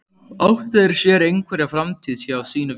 Áttu þeir sér einhverja framtíð hjá sínu félagi?